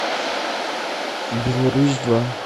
беларусь два